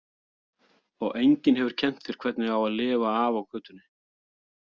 Og enginn hefur kennt þér hvernig á að lifa af á götunni.